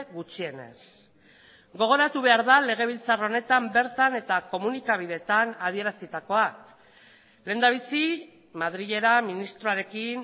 gutxienez gogoratu behar da legebiltzar honetan bertan eta komunikabideetan adierazitakoa lehendabizi madrilera ministroarekin